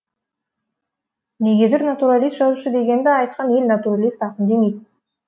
негедүр натуралист жазушы дегенді айтқан ел натуралист ақын демейді